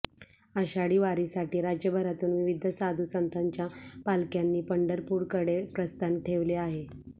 आषाढी वारीसाठी राज्यभरातून विविध साधू संतांच्या पालख्यांनी पंढरपूरकडे प्रस्थान ठेवले आहे